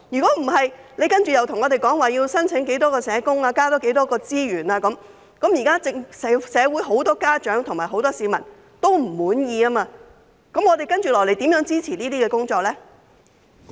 否則，當局接下來向我們申請要有多少名社工、要增加多少資源，但社會目前有很多家長和市民也不滿意，我們又如何支持這些工作呢？